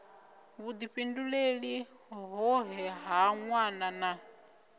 vhudifhinduleli hoṱhe ha nwana na